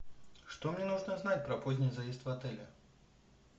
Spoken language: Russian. что мне нужно знать про поздний заезд в отеле